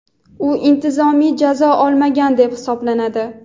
u intizomiy jazo olmagan deb hisoblanadi.